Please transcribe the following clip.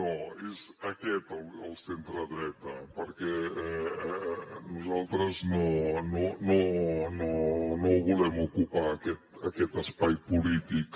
no és aquest el centredreta perquè nosaltres no volem ocupar aquest espai polític